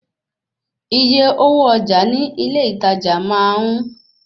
Iye owó ọjà ní ilé ìtajà máa ń